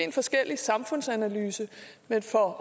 en forskellig samfundsanalyse men for